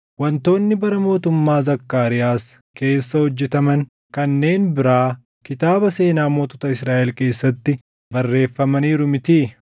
Wantoonni bara mootummaa Zakkaariyaas keessa hojjetaman kanneen biraa kitaaba seenaa mootota Israaʼel keessatti barreeffamaniiru mitii?